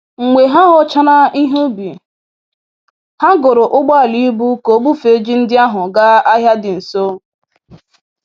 Mgbe ha ghọchara ihe ubi, ha goro ụgbọala ibu ka o bufee ji ndị ahụ gaa ahịa dị nso.